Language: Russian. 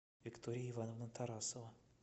виктория ивановна тарасова